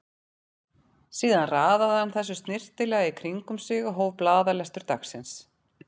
Síðan raðaði hann þessu snyrtilega í kring um sig og hóf blaðalestur dagsins.